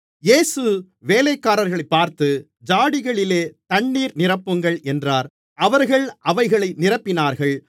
இயேசு வேலைக்காரர்களைப் பார்த்து ஜாடிகளிலே தண்ணீர் நிரப்புங்கள் என்றார் அவர்கள் அவைகளை நிரப்பினார்கள்